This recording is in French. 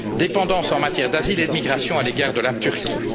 dépendance en matière d'asile et de migration à l'égard de la Turquie.